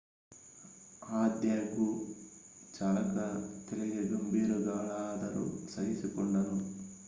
ಆದಾಗ್ಯೂ ಚಾಲಕ ತಲೆಗೆ ಗಂಭೀರ ಗಾಯಗಳಾದರೂ ಸಹಿಸಿಕೊಂಡನು